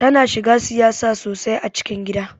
Tana shiga siyasa sosai a cikin gida.